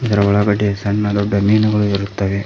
ಅದರ ಒಳಗಡೆ ಸಣ್ಣ ದೊಡ್ಡ ಮೀನುಗಳು ಇರುತ್ತವೆ.